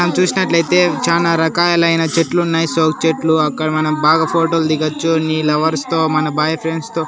మనం చూసినట్లయితే చానా రకాలైన చెట్లు ఉన్నాయి సో చెట్లు అక్కడ మనం బాగా ఫోటో లు దిగొచ్చు నీ లవర్స్ తో మన బాయ్ ఫ్రెండ్స్ తో.